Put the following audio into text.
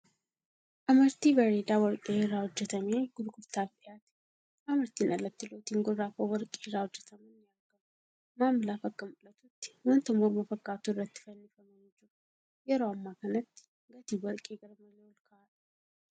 Amartii bareeda warqee irraa hojjatamee gurgurtaaf dhiyaate. Amartiin alatti lootiin gurraa kan warqee irraa hojjataman ni argamu. Maamilaaf akka mul'atutti wanta morma fakkaatu irratti fannifamanii jiru. Yeroo amma kanatti gatiin warqee garmalee olka'aadha.